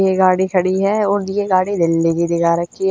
ये गाड़ी खड़ी ह और ये गाड़ी दिल्ली की दिखा रखी ह।